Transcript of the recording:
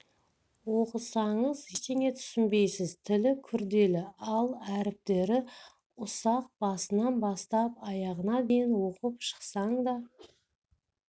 оқысаңыз ештеңе түсінбейсіз тілі күрделі ал әріптері ұсақ басынан бастап аяғына дейін оқып шықсаң да